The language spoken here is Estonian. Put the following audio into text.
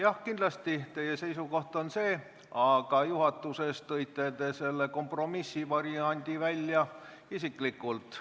Jah, kindlasti, teie seisukoht on see, aga juhatuses tõite te selle kompromissvariandi lauale isiklikult.